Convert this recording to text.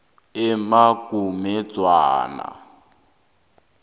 emagomedzwana